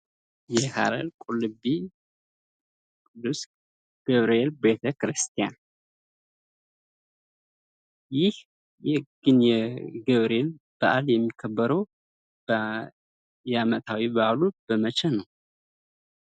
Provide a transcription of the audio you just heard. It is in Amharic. የሀረር ቁልቢ ቅዱስ ገብርኤል ቤተክርስቲያን ። ይህ የገብርኤል በዓል የሚከበረው የአመታዊ በዓሉ በመቼ ነው?